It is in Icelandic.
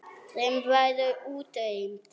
Þeim verður útrýmt.